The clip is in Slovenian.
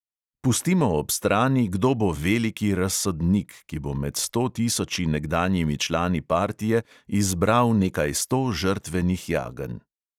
Pustimo ob strani, kdo bo veliki razsodnik, ki bo med sto tisoči nekdanjimi člani partije izbral nekaj sto žrtvenih jagenj.